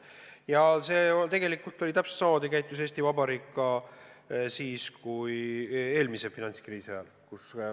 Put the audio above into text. Ja tegelikult täpselt samamoodi käitus Eesti Vabariik ka eelmise finantskriisi ajal.